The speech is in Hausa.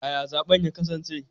Yaya zaben ya kasance?